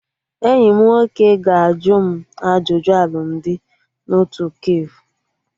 Enyi m nwoke ga-ajụ m ajụjụ alụmdi na otu kafe